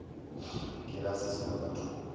dira se sengwe ka thoko